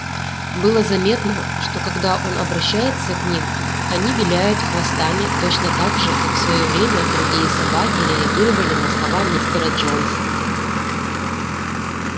было заметно что когда он обращается к ним они виляют хвостами точно так же как в своё время другие собаки реагировали на слова мистера джонса